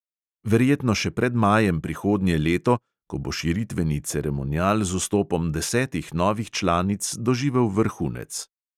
Verjetno še pred majem prihodnje leto, ko bo širitveni ceremonial z vstopom desetih novih članic doživel vrhunec.